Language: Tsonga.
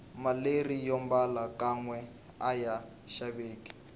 maleri yombala kanwe aya xaveki